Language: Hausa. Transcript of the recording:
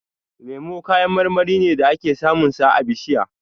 Lemu kayan marmari ne da ake samun sa a bishiya.